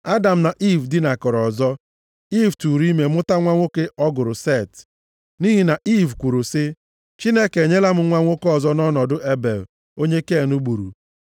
Adam na Iiv dinakọrọ ọzọ, Iiv tụụrụ ime mụta nwa nwoke ọ gụrụ Set. Nʼihi na Iiv kwuru sị, “Chineke enyela m nwa nwoke ọzọ nʼọnọdụ Ebel onye Ken gburu.”